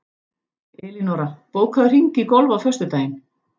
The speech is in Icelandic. Elínora, bókaðu hring í golf á föstudaginn.